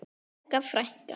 Helga frænka.